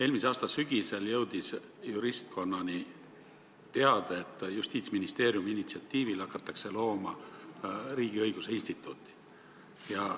Eelmise aasta sügisel jõudis juristkonnani teade, et Justiitsministeeriumi initsiatiivil hakatakse looma riigiõiguse instituuti.